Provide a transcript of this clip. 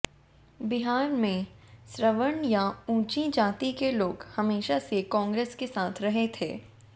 बिहार में सवर्ण या ऊंची जाति के लोग हमेशा से कांग्रेस के साथ रहे थे